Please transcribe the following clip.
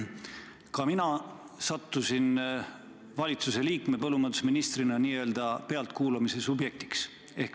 Ka mina sattusin valitsuse liikmena, täpsemalt põllumajandusministrina n-ö pealtkuulamise objektiks.